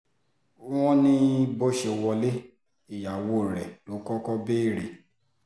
wọ́n ní bó ṣe wọlé ìyàwó rẹ̀ ló kọ́kọ́ béèrè